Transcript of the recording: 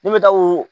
Ne bɛ taa o